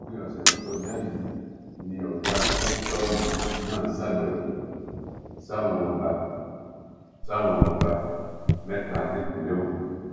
òpin ọ̀sẹ̀ tó kọjá yìí ni ọ̀gá kọ́sítọ́ọ̀mù náà ṣàbẹwò sáwọn ọba sáwọn ọba mẹ́ta nípìnlẹ̀ ògùn